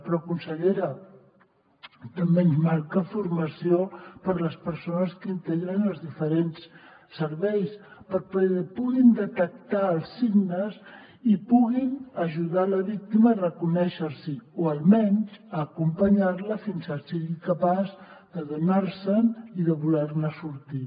però consellera també ens manca formació per a les persones que integren els diferents serveis perquè puguin detectar els signes i puguin ajudar la víctima a reconèixer s’hi o almenys acompanyar la fins que sigui capaç d’adonar se’n i de voler ne sortir